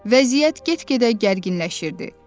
Vəziyyət get-gedə gərginləşirdi.